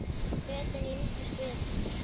Fötin límdust við hana.